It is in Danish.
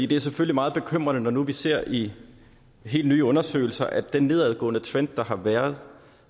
det er selvfølgelig meget bekymrende når vi ser i helt nye undersøgelser at den nedadgående trend der har været